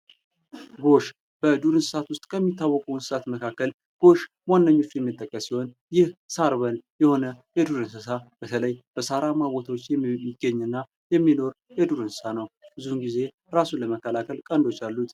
ጎሽ በዱር እንስሳት ውስጥ የሚታወቁት እንስሳት መካከል ጎሽ ዋነኞች የሚጠቀሱ ሲሆን ይህ ሳርበል የሆነ የዱር እንስሳ በተለይ በሳራማ ቦታዎች የሚገኝና የሚኖርና የዱር እንስሳት ነው። ብዙውን ጊዜ ራሱን ለመከላከል ቀንዶች አሉት።